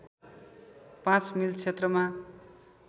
पाँच मिल क्षेत्रमा